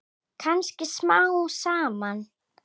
Kannski smám saman.